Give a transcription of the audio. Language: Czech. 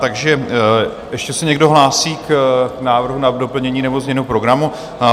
Takže ještě se někdo hlásí k návrhu na doplnění nebo změnu programu?